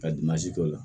Ka k'o la